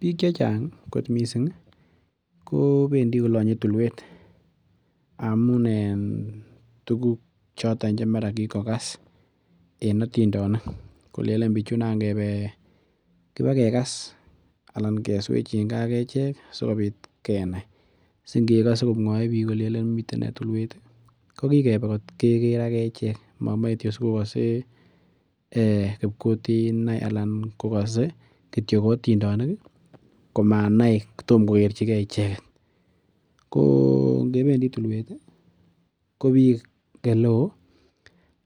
Biik chechang kot missing kobendii kolonye tulwet amun en tuguk choton chekikokas en otindonik kolenen bichu nan kebe kibakekas ana keswechingee ak echek sikobit kenai si ngekose komwoe biik kolenen miten nee tulwet ih kokibe kot keker ak echek mokimoe sikokose kipkutina anan kokose kityo otindonik komanai kotomkokerchigee icheket ko ngebendii tulwet ih ko biik eleoo